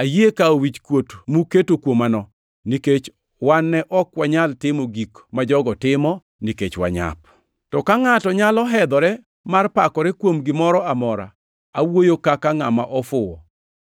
Ayie kawo wichkuot muketo kuomano; nikech wan ne ok wanyal timo gik ma jogo timo, nikech wanyap! To ka ngʼato nyalo hedhore mar pakore kuom gimoro amora; awuoyo kaka ngʼama ofuwo,